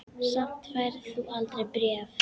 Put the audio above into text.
Samt færð þú aldrei bréf.